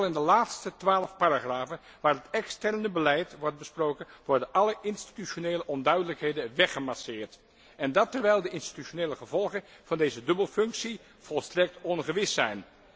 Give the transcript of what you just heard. Vooral in de laatste twaalf paragrafen, waarin het externe beleid wordt besproken, worden alle institutionele onduidelijkheden weggemasseerd, en dat terwijl de institutionele gevolgen van deze dubbelfunctie volstrekt ongewis zijn.